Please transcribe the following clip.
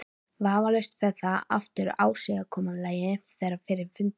Vafalaust fer það eftir ásigkomulagi þeirra við fundinn.